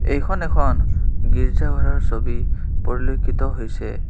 এইখন এখন গীৰ্জা ঘৰৰ ছবি পৰিলক্ষিত হৈছে।